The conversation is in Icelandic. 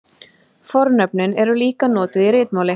Fornöfnin eru líka notuð í ritmáli.